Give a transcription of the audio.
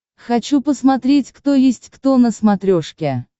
хочу посмотреть кто есть кто на смотрешке